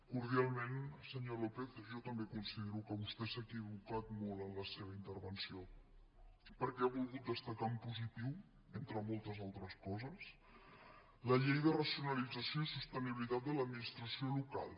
cordialment senyor lópez jo també considero que vostè s’ha equivocat molt en la seva intervenció perquè ha volgut destacar en positiu entre moltes altres coses la llei de racionalització i sostenibilitat de l’administració local